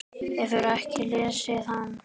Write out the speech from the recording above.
Hefurðu ekki lesið hann?